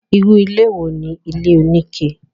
irú ilé wo ni ilé oníke?